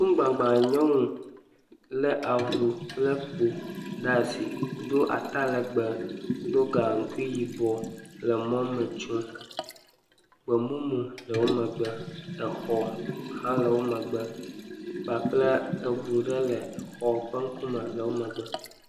Ŋkugbagba nyɔnu le avu kple kpo ɖe asi do atalegbe, do gaŋkui yibɔ le mɔme tsom. Gbemumu le wo megbe, exɔ hã wo megbe kpakple eŋu ɖe le xɔ ƒe ŋkume le wo megbe.